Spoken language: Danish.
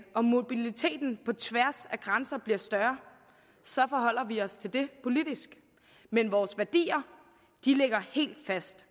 og mobiliteten på tværs af grænser bliver større forholder vi os til det politisk men vores værdier ligger helt fast